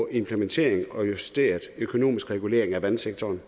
implementeringen af en justeret økonomisk regulering af vandsektoren